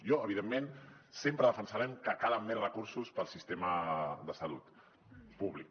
jo evidentment sempre defensaré que calen més recursos per al sistema de salut públic